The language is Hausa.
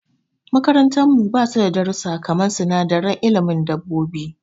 Makarantar mu basu da darussa kaman sinadaran ilimin dabobbi.